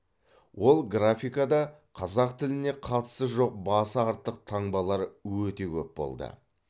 ол графикада қазақ тіліне қатысы жоқ басы артық таңбалар өте көп болды